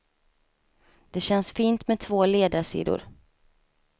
Det känns fint med två ledarsidor.